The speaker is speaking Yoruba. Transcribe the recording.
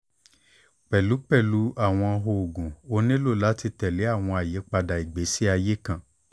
pẹlú pẹlu awọn oogun o nilo lati tẹle awọn ayipada igbesi aye kan